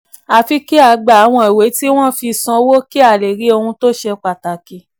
àfi kí a gba àwọn ìwé tí wọ́n fi sanwó kí a lè rí ohun tó ṣe pataki.